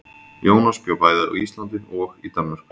Jónas bjó bæði á Íslandi og í Danmörku.